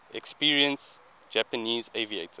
experienced japanese aviators